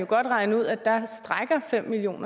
kan regne ud at fem million